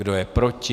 Kdo je proti?